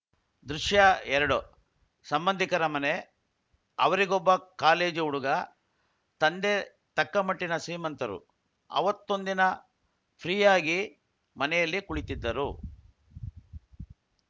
ದೃಶ್ಯ ಎರಡು ಸಂಬಂಧಿಕರ ಮನೆ ಅವರಿಗೊಬ್ಬ ಕಾಲೇಜು ಹುಡುಗ ತಂದೆ ತಕ್ಕ ಮಟ್ಟಿನ ಶ್ರೀಮಂತರು ಅವತ್ತೊಂದಿನ ಫ್ರೀಯಾಗಿ ಮನೆಯಲ್ಲಿ ಕುಳಿತಿದ್ದರು